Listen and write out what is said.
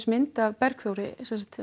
mynd af Bergþóri